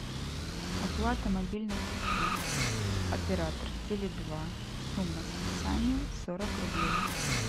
оплата мобильных услуг оператор теле два сумма списания сорок рублей